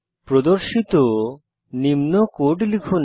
প্রদর্শিত নিম্ন কোড লিখুন